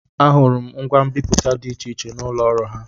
Ahụrụ m ngwa mbipụta dị iche iche n'ụlọ ọrụ ha.